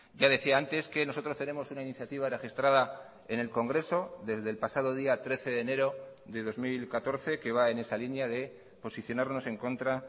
ya decía antes que nosotros tenemos una iniciativa registrada en el congreso desde el pasado día trece de enero de dos mil catorce que va en esa línea de posicionarnos en contra